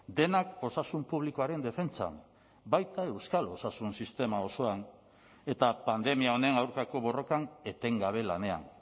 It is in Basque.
denak osasun publikoaren defentsan baita euskal osasun sistema osoan eta pandemia honen aurkako borrokan etengabe lanean